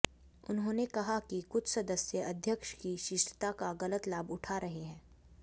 उन्होंने कहा कि कुछ सदस्य अध्यक्ष की शिष्टता का गलत लाभ उठा रहे हैं